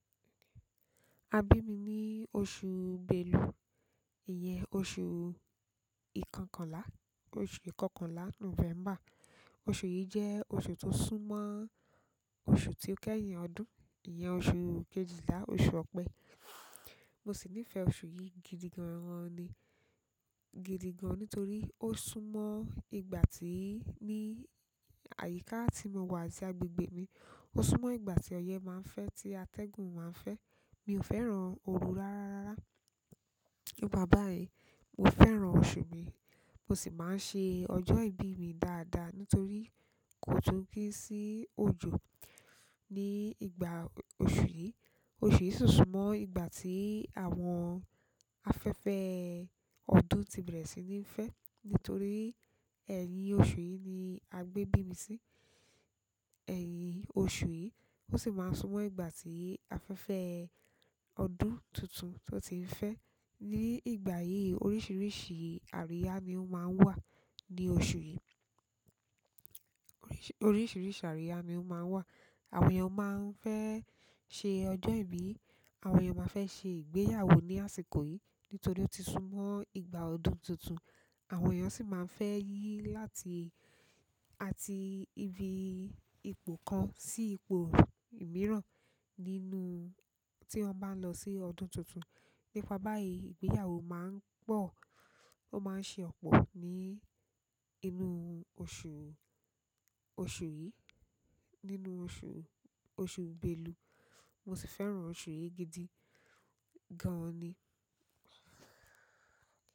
Àbí mi ní oṣù Belu, ìyẹn oṣù ìkọkànlá, oṣù ìkọkànlá November. Oṣù yìí jẹ́ oṣù tó sún mọ́ oṣù tí ó kẹ́yìn ọdún, ìyẹn oṣù kejìlá, oṣù ọ̀pẹ. Mo sì nífẹ̀ẹ́ oṣù yìí gidiganran ni, gidigan nítorí ó sún mọ́ ìgbà tí ní àyíká tí mo wà àti agbègbè mi. Ó sún mọ́ ìgbà tí ọyẹ́ máa ń fẹ́, tí atẹ́gùn máa ń fẹ́. Mi ò fẹ́ràn oru rárá. Nípa báyìí, mo fẹ́ràn oṣù mi. Mo sì máa ń ṣe ọjọ́ ìbí mi dáadáa nítorí kò tun ni sí òjò ní ìgbà oṣù yìí. Oṣù yìí sì sún mọ́ ìgbà tí àwọn afẹ́fẹ́ ọdún ti bẹ̀rẹ̀ sí ní fẹ́. Nítorí ẹ̀yìn oṣù yìí ni a gbé bí mi sí. Ẹ̀yìn oṣù yìí ó sì máa ń sún mọ́ ìgbà tí afẹ́fẹ́ ọdún tuntun tó ti ń fẹ́. Ní ìgbà yìí oríṣìíríṣìí àríyá ni ó máa ń wà ní oṣù yìí. Oríṣìíríṣìí àríyá ni ó máa ń wà. Àwọn èèyàn máa ń fẹ́ ṣe ọjọ́ ìbí, àwọn èèyàn máa fẹ́ ṣe ìgbéyàwó ní àsìkò yìí nítorí ó ti sún mọ́ ìgbà ọdún tuntun. Àwọn èèyàn sì máa ń fẹ́ yí láti, àti ibi ìpò kan sí ipò mìíràn nínú tí wọ́n bá ń lọ sí ọdún tuntun. Nípa báyìí ìgbéyàwó máa ń pọ̀, ó máa ń ṣe ọ̀pọ̀ ní inú oṣù, oṣù yìí, nínú oṣù, oṣù Belu. Mo sì fẹ́ràn oṣù yìí gidi gan ni.